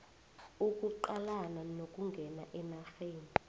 ukuqalana nokungena enarheni